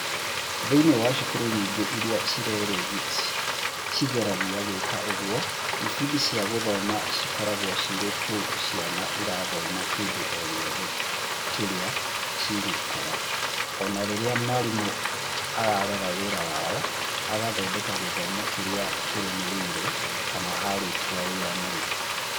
Thĩinĩ wa cukuru nyingĩ iria ciĩgeragia gwĩka ũguo, ibindi cia gũthoma cikoragwo cirĩ tu ciana irathoma kĩndũ o gĩothe kĩrĩa cingĩkora, o rĩrĩa mwarimũ ara rora wĩra wao, agathondeka gĩthomo kĩrĩa kĩrũmĩrĩire, kana arĩkia wĩra mũna.